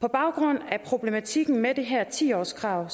på baggrund af problematikken med det her ti årskrav